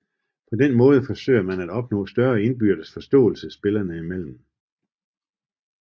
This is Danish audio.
På den måde forsøger man at opnå større indbyrdes forståelse spillerne imellem